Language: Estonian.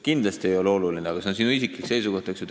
Kindlasti, aga see on sinu isiklik seisukoht, eks ju.